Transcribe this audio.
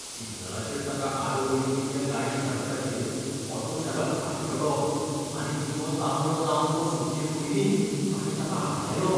सिग्नलाचेर ताका आडवो येवपी त्या गाडी चालकाचेर ऑटो चालक आड्डलो आनी दिवो तांबडो जावन तो सुटचे पयलींच ताणें ताका आडायलो.